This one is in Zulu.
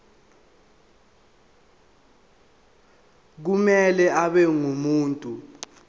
kumele abe ngumuntu